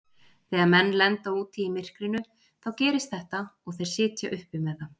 Þegar menn lenda úti í myrkrinu þá gerist þetta og þeir sitja uppi með það.